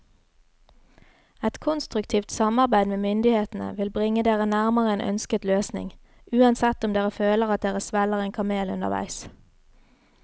Et konstruktivt samarbeid med myndighetene vil bringe dere nærmere en ønsket løsning, uansett om dere føler at dere svelger en kamel underveis.